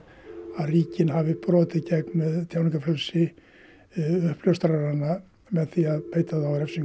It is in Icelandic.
að ríkin hafi brotið gegn tjáningarfrelsi uppljóstrara með því að beita þá refsingum